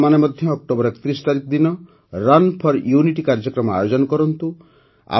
ଆପଣମାନେ ମଧ୍ୟ ଅକ୍ଟୋବର ୩୧ ତାରିଖ ଦିନ ରନ୍ ଫୋର ୟୁନିଟି କାର୍ଯ୍ୟକ୍ରମ ଆୟୋଜନ କରନ୍ତୁ